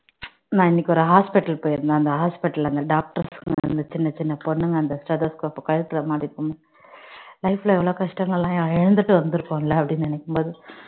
நான் இன்னைக்கு ஒரு hospital போயிருந்தேன் அந்த hospital ல அந்த doctor வந்து சின்ன சின்ன பொண்ணுங்க அந்த stethoscope அ கழுத்துல life ல எவ்வளவு கஷ்டங்கள் எல்லாம் இழந்துட்டு வந்திருக்கும்ல என்னு நினைக்கும் போது